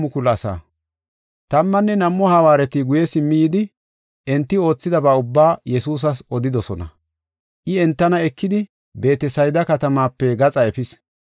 Tammanne nam7u hawaareti guye simmi yidi, enti oothidaba ubbaa Yesuusas odidosona. I entana ekidi Beetesayda katamaape gaxa efis.